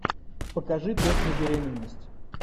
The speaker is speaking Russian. покажи тест на беременность